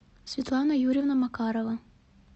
светлана юрьевна макарова